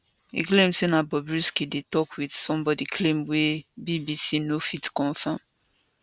e claim say na bobrisky dey tok wit somebodi claim wey bbc no fit confam